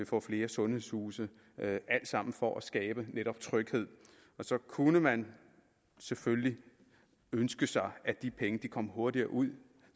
få flere sundhedshuse alt sammen for at skabe netop tryghed så kunne man selvfølgelig ønske sig at de penge kom hurtigere ud